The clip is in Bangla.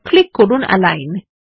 ক্লিক করুন এলাইন